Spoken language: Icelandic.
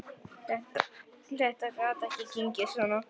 Þetta gat ekki gengið svona.